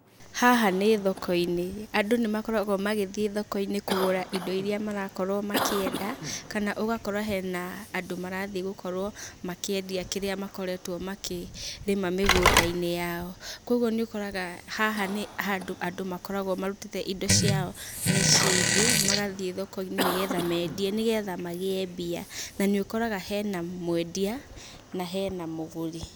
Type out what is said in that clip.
Haha nĩ thokoinĩ, andũ nĩmakoragwo magĩthiĩ thokoinĩ kũgũra indo iria marakorwo makĩenda, kana ũgakora hena andũ marathiĩ gũkorwo makĩendia kĩrĩa makoretwo makĩ rĩma mĩgũndainĩ yao. Koguo nĩũkoraga haha nĩ handũ andũ makoragwo marutĩte indo ciao mĩciinĩ, magathiĩ thokoinĩ nĩgetha mendie nĩgetha magie mbia, na nĩũkoraga hena mwendia, na hena mũgũri.